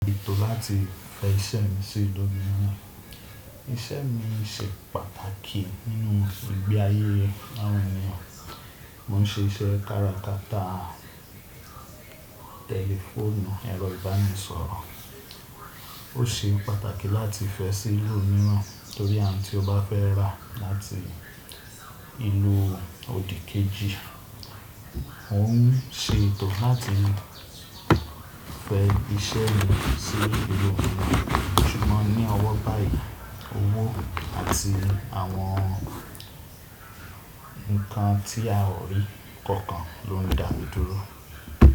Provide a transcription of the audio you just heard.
Nitori ati fẹ iṣẹ si lojumo, iṣẹ mi ṣe pàtàkì ninu ìgbé aye awọn ènìyàn. Mo n ṣe iṣẹ́ káràkátà tẹlifoonù ẹ̀rọ ibanisọ̀rọ̀. O se pàtàkì láti fẹ e si ibòmíràn, tori awọn ti o ba fẹ ra lati ìlú odikeeji. Mo n ṣe ètò láti fẹ iṣẹ́ mi sí ìlú míràn. Ṣugbọn ni ọwọ bayii owo ati awọn nkan ti a ri kọọkan lo n da mi dúró.